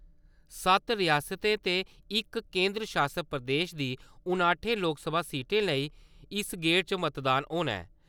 सत्त रियासतें दे इक केंदर शासत प्रदेश दी नाह्टें लोकसभा सीटें लेई इस गेड़ च मतदान होना ऐ।